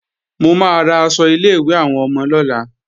Mo máa ra aṣọ ilé-ìwé àwọn ọmọ lọ́la